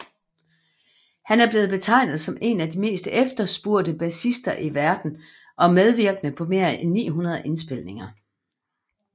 Han er blevet betegnet som en af de mest efterspurgte bassister i verden og medvirkede på mere end 900 indspilninger